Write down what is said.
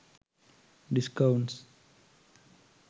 discounts